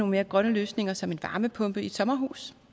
mere grønne løsninger som en varmepumpe i et sommerhus